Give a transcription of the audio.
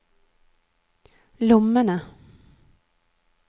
lommene